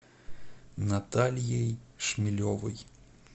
натальей шмелевой